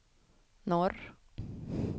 norr